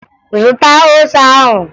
Zụta ose ahụ!